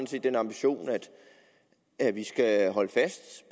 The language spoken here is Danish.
set den ambition at vi skal holde fast